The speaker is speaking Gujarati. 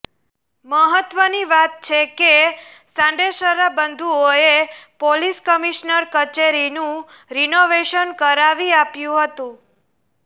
મહત્વની વાત છે કે સાંડેસરા બંધુઓએ પોલીસ કમિશ્નર કચેરીનું રિનોવેશન કરાવી આપ્યું હતું